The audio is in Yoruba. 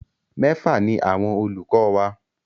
Mẹ́fà ni àwọn olùkọ wa.